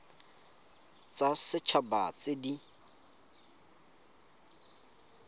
tsa set haba tse di